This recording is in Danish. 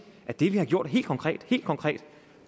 at det vi har gjort helt konkret helt konkret